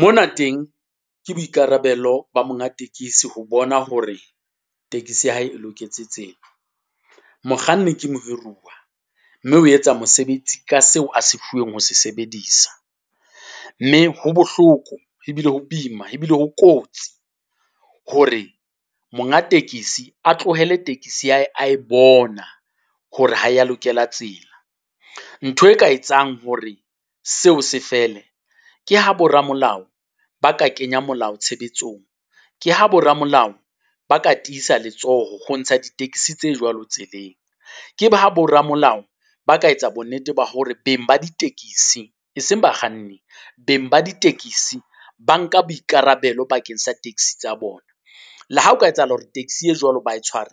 Mona teng ke boikarabelo ba monga tekesi ho bona hore tekesi ya hae e loketse tsela. Mokganni ke mohiruwa, mme o etsa mosebetsi ka seo a se fuweng ho sebedisa, mme ho bohloko, ebile ho boima, ebile ho kotsi hore monga tekesi a tlohele tekesi ya hae a e bona hore ha e ya lokela tsela. Ntho e ka etsang hore seo se fele, ke ha bo ramolao ba ka kenya molao tshebetsong, ke ha bo ramolao ba ka tiisa letsoho ho ntsha di-taxi tse jwalo tseleng. Ke ba ha bo ramolao ba ka etsa bonnete ba hore beng ba ditekisi, e seng bakganni, beng ba ditekisi ba nka boikarabelo bakeng sa taxi tsa bona. Le ha ho ka etsahala hore taxi e jwalo ba e tshware,